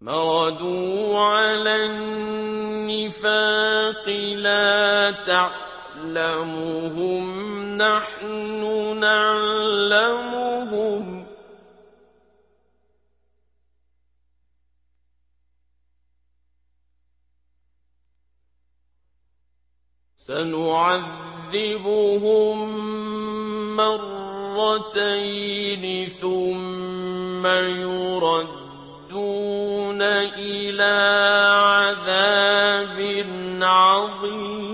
مَرَدُوا عَلَى النِّفَاقِ لَا تَعْلَمُهُمْ ۖ نَحْنُ نَعْلَمُهُمْ ۚ سَنُعَذِّبُهُم مَّرَّتَيْنِ ثُمَّ يُرَدُّونَ إِلَىٰ عَذَابٍ عَظِيمٍ